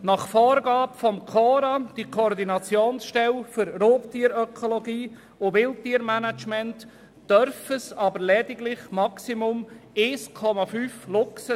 Nach Vorgabe der Koordinationsstelle für Raubtierökologie und Wildtiermanagement (KORA) dürften es aber lediglich maximal 1,5 Luchse sein.